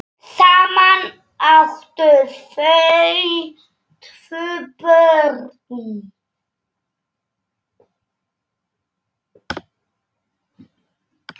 Saman áttu þau tvö börn.